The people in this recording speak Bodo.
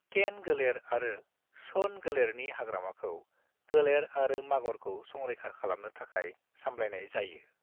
केन-गोलेर आरो सोन-गोलेरनि हाग्रामाखौ गोलेर आरो मागरखौ संरैखा खालामनो थाखाय सामलायनाय जायो।